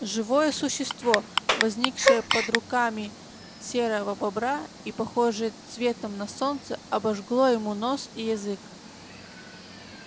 живое существо возникшее под руками серого бобра и похожее цветом на солнце обожгло ему нос и язык